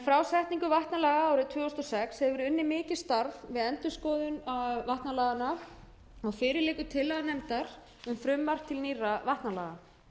frá setningu vatnalaga árið tvö þúsund og sex hefur verið unnið mikið starf við endurskoðun vatnalaga og fyrir liggur tillaga nefndar um frumvarp til nýrra vatnalaga